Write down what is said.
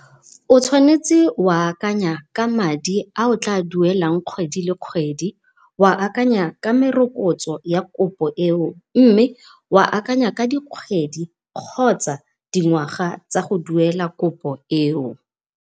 O tshwanetse o a akanya ka madi a o tla wa duelang kgwedi le kgwedi, o a akanya ka merokotso ya kopo eo, mme oa akanya ka di kgwedi kgotsa dingwaga tsa go duela kopo eo.